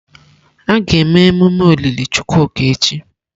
A ga-eme emume olili Chukwuka echi.